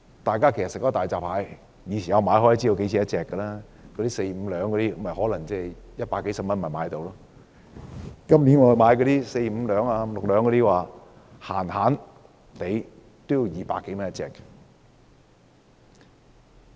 大家平日吃大閘蟹也大概知道價錢 ，4 至5兩重的大閘蟹大約100多元一隻，今年4至5兩重的大閘蟹動輒要200多元一隻。